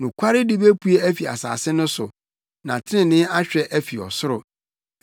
Nokwaredi bepue afi asase no so, na trenee ahwɛ afi ɔsoro.